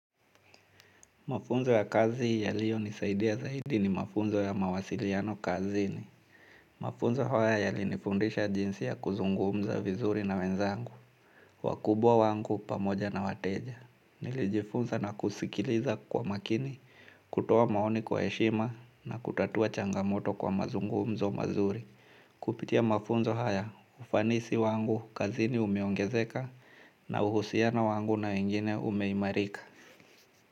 Mafunzo ya kazi yaliyonisaidia zaidi ni mafunzo ya mawasiliano kazini. Mafunzo haya yalinifundisha jinsi ya kuzungumza vizuri na wenzangu. Wakubwa wangu pamoja na wateja. Nilijifunza na kusikiliza kwa makini, kutoa maoni kwa heshima na kutatua changamoto kwa mazungumzo mazuri. Kupitia mafunzo haya, ufanisi wangu kazini umeongezeka na uhusiano wangu na wengine umeimarika.